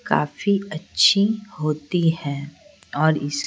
काफी अच्छी होती है और--